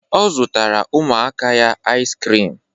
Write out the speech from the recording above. Ọ zụtara ụmụaka ya ais krim